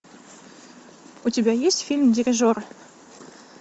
у тебя есть фильм дирижер